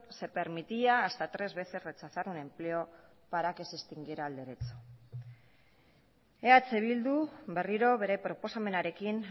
se permitía hasta tres veces rechazar un empleo para que se extinguiera el derecho eh bildu berriro bere proposamenarekin